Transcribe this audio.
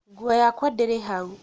nguo yakwa ndĩrĩ hau